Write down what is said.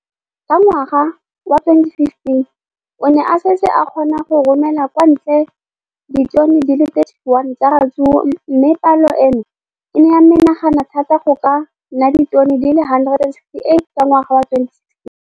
Ka ngwaga wa 2015, o ne a setse a kgona go romela kwa ntle ditone di le 31 tsa ratsuru mme palo eno e ne ya menagana thata go ka nna ditone di le 168 ka ngwaga wa 2016.